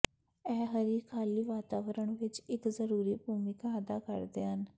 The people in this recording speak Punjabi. ਇਹ ਹਰੀ ਖਾਲੀ ਵਾਤਾਵਰਣ ਵਿਚ ਇਕ ਜ਼ਰੂਰੀ ਭੂਮਿਕਾ ਅਦਾ ਕਰਦੇ ਹਨ